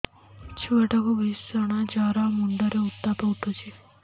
ଛୁଆ ଟା କୁ ଭିଷଣ ଜର ମୁଣ୍ଡ ରେ ଉତ୍ତାପ ଉଠୁଛି